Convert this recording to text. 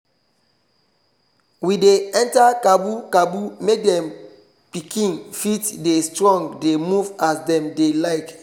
we dey enter cabu cabu make dem pikin fit dey strong dey move as dem dem like